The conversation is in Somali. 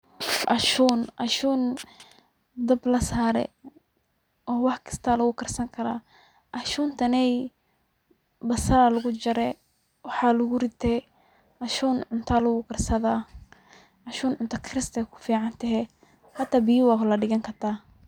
Ashun ,ashun dablasare oo wax kasta lagu karsankara ,ashuntaney basal aa lagu jarjarre wxa lagurite, ashun cunta alagukarsada, asun cunta karist aya kuficantehe hata biya wa ladigan karta.